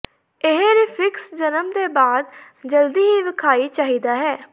ਇਹ ਰੀਫਿਕਸ ਜਨਮ ਦੇ ਬਾਅਦ ਜਲਦੀ ਹੀ ਵਿਖਾਈ ਚਾਹੀਦਾ ਹੈ